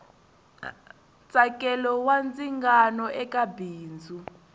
ntsakelo wa ndzingano eka bindzu